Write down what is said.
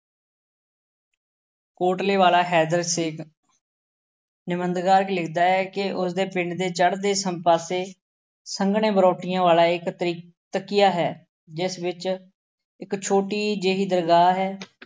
ਕੋਟਲੇ ਵਾਲਾ ਹੈਦਰ ਸੇਖ ਨਿਬੰਧਕਾਰ ਲਿਖਦਾ ਹੈ ਕਿ ਉਸਦੇ ਪਿੰਡ ਦੇ ਚੜ੍ਹਦੇ ਸਮ ਪਾਸੇ ਸੰਘਣੇ ਬਰੌਟੀਆਂ ਵਾਲਾ ਇੱਕ ਟਰੀ ਕੁਟੀਆ ਹੈ ਜਿਸ ਵਿੱਚ ਇੱਕ ਛੋਟੀ ਜਿਹੀ ਦਰਗਾਹ ਹੈ।